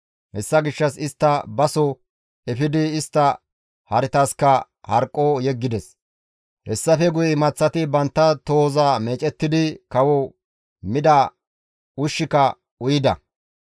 Hessa gishshas istta ba soo efidi istta haretaska harqqo yeggides. Hessafe guye imaththati bantta tohoza meecettidi kawo mida ushshika uyida.